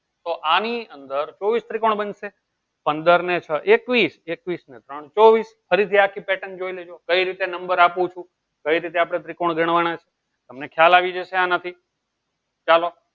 તો આની અંદર ચોવીસ ત્રિકોણ બનશે પંદર ને છ એકવીસ એકવીસ ને ત્રોણ ચોવીસ ફરીથી આખી patern જોઈ લેજો કઈ રીતે number આપું છું કઈ રીતે આપણે ત્રિકોણ ગણવાના છે તમને ખ્યાલ આવી જશે આનાથી ચાલો